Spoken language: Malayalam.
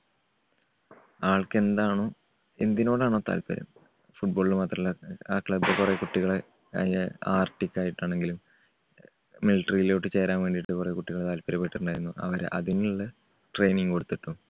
ആൾക്ക് എന്താണോ എന്തിനോടാണോ താല്പര്യം football ന് മാത്രല്ല ആ club കുറെ കുട്ടികളെ artic ക്കായിട്ടാണെങ്കിലും military യിലോട്ട് ചേരാൻ വേണ്ടി കുറെ കുട്ടികള് താത്പര്യപെട്ടിട്ടുണ്ടായിരുന്നു അവരെ അതിനുള്ള training കൊടുത്തിട്ടുണ്ട്.